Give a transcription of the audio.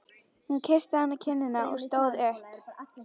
Hún kyssti hann á kinnina og stóð upp.